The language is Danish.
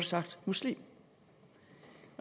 sagt muslim